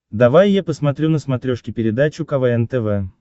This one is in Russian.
давай я посмотрю на смотрешке передачу квн тв